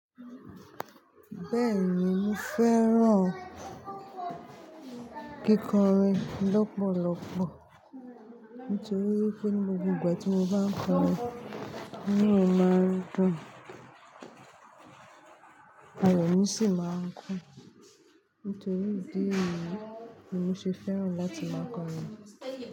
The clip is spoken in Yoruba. Bẹ́ẹ̀ni mo fẹ́ràn kíkọrin lọ́pọ̀lọpọ̀ nítorí pé ní gbogbo ìgbà tí mo bá ń kọrin, inú mi máa dùn, ayọ̀ mi sì máa ń kún. Nítorí ìdí èyìí ni mo ṣe fẹ́ràn láti máa kọrin.